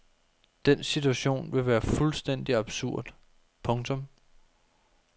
Den situation ville være fuldstændigt absurd. punktum